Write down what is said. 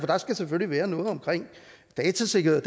der skal selvfølgelig være noget med datasikkerhed